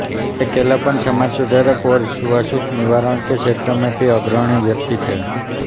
के केलप्पन समाज सुधार और छूआछूत निवारण के क्षेत्र में भी अग्रणी व्यक्ति थे